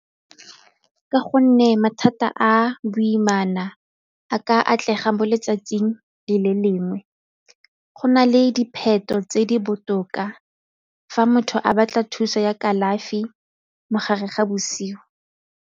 Ka gonne mathata a boimana a ka atlega mo letsatsing le le lengwe, go na le dipheto tse di botoka fa motho a batla thuso ya kalafi mo gare ga bosigo.